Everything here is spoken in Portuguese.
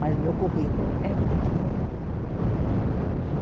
Mas o meu currículo é muito bom. Ah